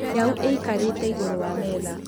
Nyau ĩkarĩte igũrũ wa metha